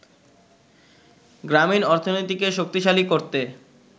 গ্রামীণ অর্থনীতিকে শক্তিশালী করতে